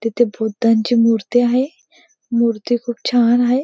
तिथे बुद्धांची मूर्ती आहे. मूर्ती खूप छान आहे.